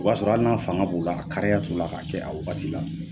O b'a sɔrɔ hali n'a fanga b'u la, a kariya t' u la, k'a kɛ a wagati la.